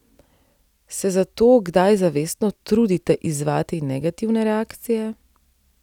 Se zato kdaj zavestno trudite izzvati negativne reakcije?